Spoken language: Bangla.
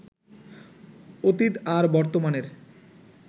অতীত আর বর্তমানের